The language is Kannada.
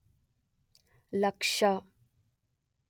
ಲಕ್ಷ